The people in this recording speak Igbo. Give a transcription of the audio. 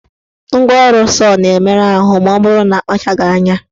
Ngwaọrụ sọọ na-emerụ ahụ maọbụrụ na akpachaghị anya.